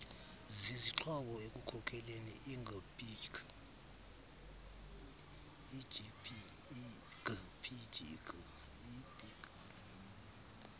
zizixhobo ekukhokeleni igpg